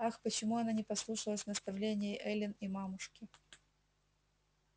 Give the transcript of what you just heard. ах почему она не послушалась наставлении эллин и мамушки